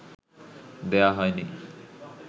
দেয়া হয়নি